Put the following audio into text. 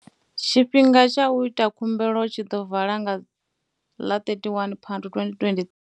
Tshifhinga tsha u ita khumbelo tshi ḓo vala nga ḽa 31 Phando 2023.